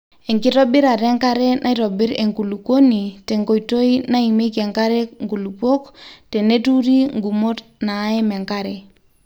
enkitobirata enkare naitobirr enkulukuoni te nkoitoi naimieki enkare nkulupuo teneturi ngumot naaim enkare